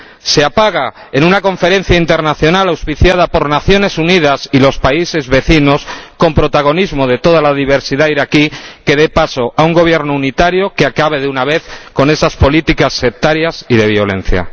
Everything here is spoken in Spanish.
Se apaga en una conferencia internacional auspiciada por las Naciones Unidas y los países vecinos, con protagonismo de toda la diversidad iraquí, que dé paso a un gobierno unitario que acabe, de una vez, con esas políticas sectarias y de violencia.